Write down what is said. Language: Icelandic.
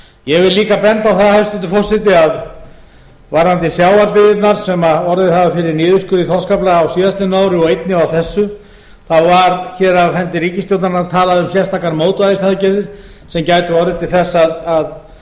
ég vil líka benda á það hæstvirtur forseti að varðandi sjávarbyggðirnar sem orðið hafa fyrir niðurskurði í þorskafla á síðastliðnu ári og einnig á þessi þá var hér af hendi ríkisstjórnarinnar talað um sérstakar mótvægisaðgerðir sem gætu orðið til þess að